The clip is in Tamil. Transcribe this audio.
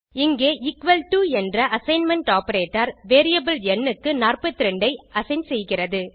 இங்கே எக்குவல் டோ என்ற அசைன்மென்ட் ஆப்பரேட்டர் வேரியபிள் ந் க்கு 42 ஐassign செய்கிறது